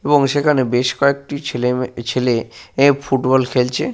এবং সেখানে বেশ কয়েকটি ছেলে মে এহ ছেলে ফুটবল খেলছে।